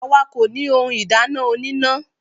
Àwa kò ní ohun ìdáná oníná.